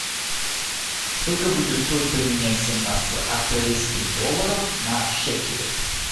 сколько будет стоить поменять семнадцать австралийских долларов на шекели